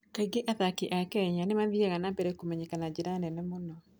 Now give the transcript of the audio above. Kaingĩ athaki a Kenya nĩ mathiaga na mbere kũmenyeria na njĩra nene mũno.